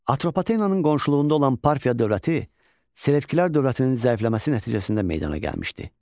Atropatenanın qonşuluğunda olan Parfiya dövləti Selevkilər dövlətinin zəifləməsi nəticəsində meydana gəlmişdi.